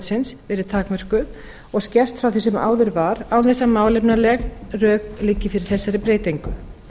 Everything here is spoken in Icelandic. heilbrigðisráðuneytisins verið takmörkuð og skert frá því sem áður var án þess að málefnaleg rök liggi fyrir þessari breytingu